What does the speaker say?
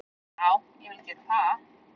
Já, ég vil gera það.